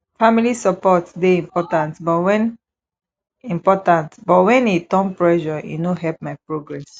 family support dey important but when important but when e turn pressure e no help my progress